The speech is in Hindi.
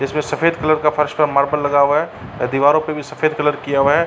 जिसमे सफ़ेद कलर का फर्श का मार्बल लगा हुआ है। दीवारों पे भी सफ़ेद कलर किया हुआ है।